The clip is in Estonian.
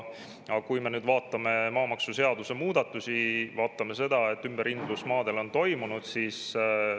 Aga vaatame maamaksuseaduse muudatusi, maade ümberhindamine on ju toimunud.